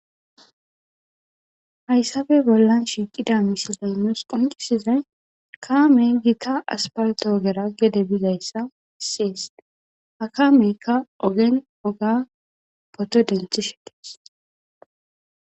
Haysape bolan shiqeda missilen nusi qonc'isizay kamey gita asfalte ogera gede bizaysi beses ha kameyka